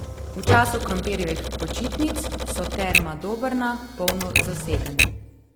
V času krompirjevih počitnic so Terma Dobrna polno zasedene.